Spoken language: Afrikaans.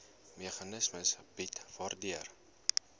meganisme bied waardeur